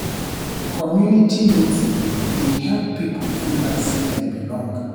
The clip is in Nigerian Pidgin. Community meeting dey help people feel like sey dem belong.